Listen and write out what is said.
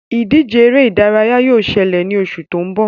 Ìdíje eré ìdárayá yóò ṣẹlẹ̀ ní oṣù tó ń bọ̀